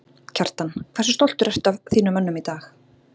Kjartan: Hversu stoltur ertu að þínum mönnum í dag?